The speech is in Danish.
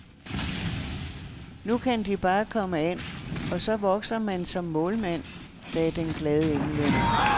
Nu kan de bare komme an, og så vokser man som målmand, sagde den glade englænder.